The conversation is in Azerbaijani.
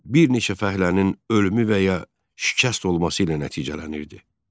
Bir neçə fəhlənin ölümü və ya şikəst olması ilə nəticələnirdi.